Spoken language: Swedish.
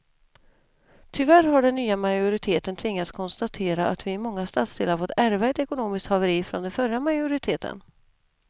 Tyvärr har den nya majoriteten tvingats konstatera att vi i många stadsdelar fått ärva ett ekonomiskt haveri från den förra majoriteten.